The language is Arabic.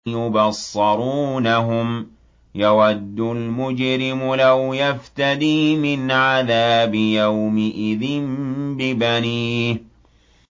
يُبَصَّرُونَهُمْ ۚ يَوَدُّ الْمُجْرِمُ لَوْ يَفْتَدِي مِنْ عَذَابِ يَوْمِئِذٍ بِبَنِيهِ